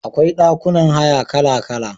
Akwai ɗakunan haya kala-kala.